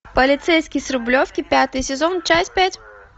полицейский с рублевки пятый сезон часть пять